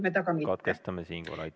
, pseudonümiseeritud andmed aga mitte.